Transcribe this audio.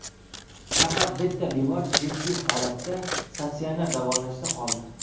Faqat bitta bemor jiddiy holatda statsionar davolanishda qoldi.